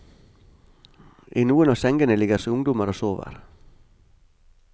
I noen av sengene ligger ungdommer og sover.